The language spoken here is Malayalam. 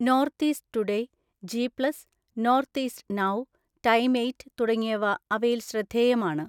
North East Today, G Plus, North East Now, Time Eight തുടങ്ങിയവ അവയിൽ ശ്രദ്ധേയമാണ്.